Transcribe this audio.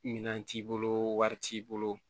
Minɛn t'i bolo wari t'i bolo